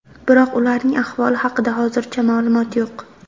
Biroq ularning ahvoli haqida hozircha ma’lumot yo‘q.